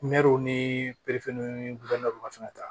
ni ni ta